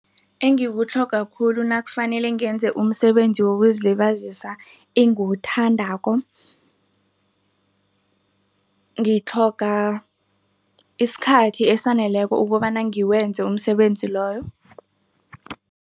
Engikutlhoga khulu nakufanele ngenze umsebenzi wokuzilibazisa engiwuthandako. Ngitlhoga isikhathi esaneleko ukobana ngiwenze umsebenzi loyo.